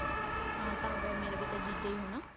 ਹਾਂ ਤਾਂ ਕੀ ਹੋਇਆ ਮੇਰਾ ਵੀ ਤਾਂ ਜੀਜਾ ਹੀ ਹੈ